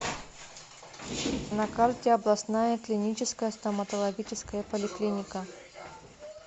на карте областная клиническая стоматологическая поликлиника